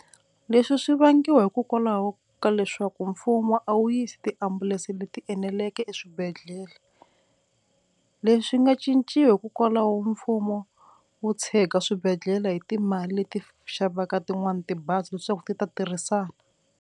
Leswi swi vangiwa hikokwalaho ka leswaku mfumo a wu yisi tiambulense leti eneleke eswibedhlele, leswi swi nga cinciwa hikokwalaho mfumo wu tshega swibedhlele hi timali leti xavaka tin'wani tibazi leswaku ti ta tirhisana.